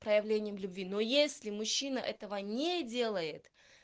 проявлением любви ну если мужчина этого не делает